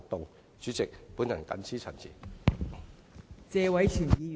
代理主席，我謹此陳辭。